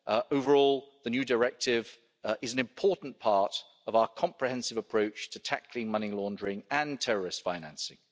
Overall, the new directive is an important part of our comprehensive approach to tackling money laundering and terrorist financing.